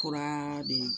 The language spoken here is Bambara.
Kura de